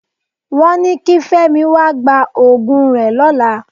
Wọ́n ni kí Fẹ́mi wá gba òògùn rẹ lọ́la.